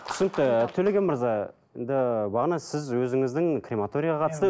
түсінікті төлеген мырза енді бағана сіз өзіңіздің крематорияға қатысты